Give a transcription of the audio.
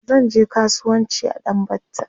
zanje kasuwanci a ɗan batta